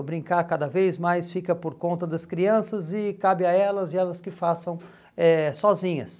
O brincar cada vez mais fica por conta das crianças e cabe a elas e elas que façam eh sozinhas.